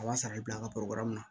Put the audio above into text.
A b'a sara i bi bila an ka na